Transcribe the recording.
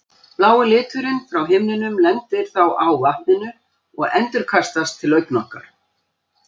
Blái liturinn frá himninum lendir þá á vatninu og endurkastast til augna okkar.